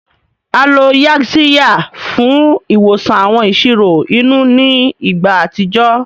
A lo Yaxiya fún ìwòsàn àwọn ìṣòro inú ní ìgbà àtijọ́